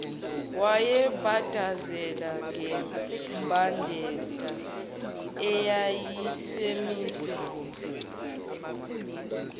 wayebhadazela ngembadada eyayisimise